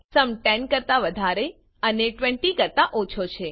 sum 10 કરતા વધારે અને 20 કરતા ઓછો છે